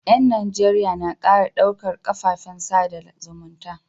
Yan Najeriya na kara ɗaukar kafafen sada zumunta